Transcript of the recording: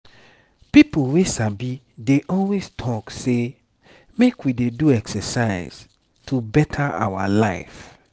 people wey sabi dey always talk say make we dey do exercise to better our life.